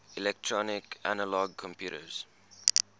electronic analog computers